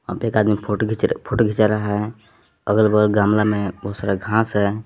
यहां पे एक आदमी फोटो घिंच फोटो घिंचा रहा है और अगल बगल गमला में बहुत सारा घांस है।